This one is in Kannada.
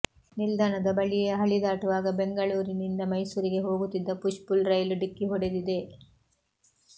ನಿಲ್ದಾಣದ ಬಳಿಯೇ ಹಳಿ ದಾಟುವಾಗ ಬೆಂಗಳೂರಿನಿಂದ ಮೈಸೂರಿಗೆ ಹೋಗುತ್ತಿದ್ದ ಪುಷ್ಪುಲ್ ರೈಲು ಡಿಕ್ಕಿ ಹೊಡೆದಿದೆ